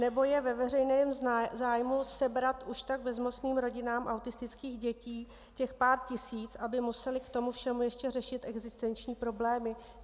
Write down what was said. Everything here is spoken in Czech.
Nebo je ve veřejném zájmu sebrat už tak bezmocným rodinám autistických dětí těch pár tisíc, aby musely k tomu všemu ještě řešit existenční problémy?